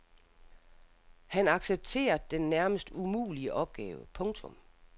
Han accepterer den nærmest umulige opgave. punktum